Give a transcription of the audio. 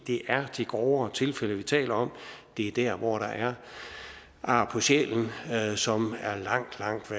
det er de grovere tilfælde vi taler om det er der hvor der er ar på sjælen som